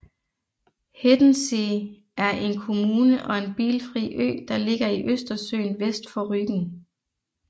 Hiddensee er en kommune og en bilfri ø der ligger i Østersøen vest for Rügen